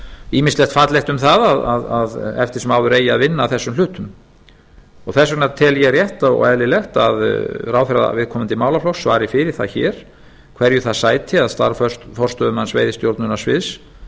ýmislegt fallegt um það að eftir sem áður eigi að vinna að þessum hlutum þess vegna tel ég rétt og eðlilegt að ráðherra viðkomandi málaflokks svari fyrir það hér hverju það sæti að starf forstöðumanns veiðistjórnunarsviðs